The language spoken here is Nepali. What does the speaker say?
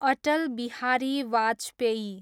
अटल बिहारी वाजपेयी